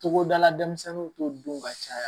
Togoda la denmisɛnninw t'o dun ka caya